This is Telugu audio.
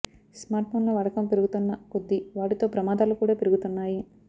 స్మార్ట్ ఫోన్ల వాడకం పెరుగుతున్న కొద్దీ వాటితో ప్రమాదాలు కూడా పెరుగుతున్నాయి